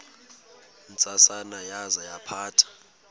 ntsasana yaza yaphatha